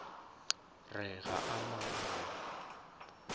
re ga a na mo